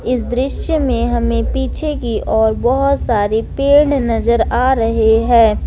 इस दृश्य में हमें पीछे की ओर बहोत सारे पेड़ नजर आ रहे हैं।